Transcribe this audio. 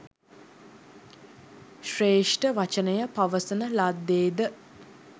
ශ්‍රේෂ්ඨ වචනය පවසන ලද්දේ ද?